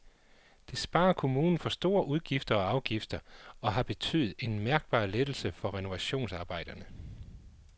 Det sparer kommunen for store udgifter og afgifter og har betydet en mærkbar lettelse for renovationsarbejderne.